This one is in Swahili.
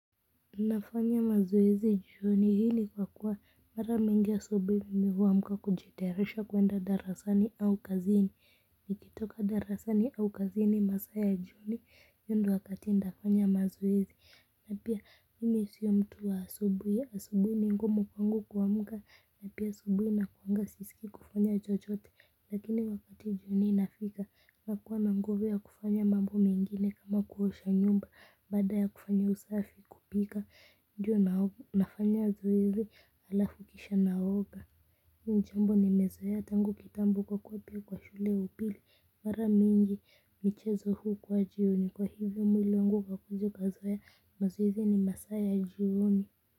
Nafanya mazoezi jioni hii ni kwa kuwa mara mingi asubui mimi huamka kujitayarisha kuenda darasani au kazini. Nikitoka darasani au kazini masaa ya jioni hiyo ndio wakati nitafanya mazoezi. Na pia mimi siyo mtu wa asubuhi, asubuhi ni ngumu kwangu kuamka na pia asubuhi inakuanga sihisi kufanya chochote lakini wakati ninafika nakuwa na nguvu ya kufanya mambo mengine kama kuosha nyumba baada ya kufanya usafi kupika ju nafanya zoezi halafu kisha naoga ni jambo nimezoea tangu kitambo kwa kuwa pia kwa shule ya upili mara mingi michezo hukuwa jioni kwa hivyo mwili wangu ukakuja ukazoea mazoezi ni masaa ya jioni.